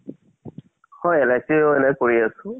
হয় LIC ও এনে কৰি আছো।